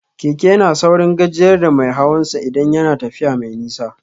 Keke yana saurin gajiyar da mai hawan sa idan yana tafiya mai nisa